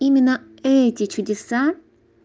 именно эти чудеса